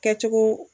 Kɛcogo